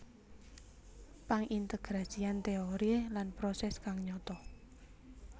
Pangintegrasian teori lan proses kang nyata